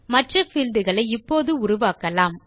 மற்ற பீல்ட் களை இப்போது உருவாக்கலாம்